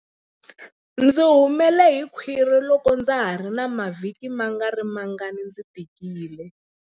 Ndzi humele hi khwiri loko ndza ha ri na mavhiki mangarimangani ndzi tikile.